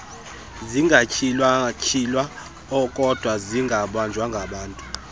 zingatyhilwatyhilwayo kokdwa zingabanjwanga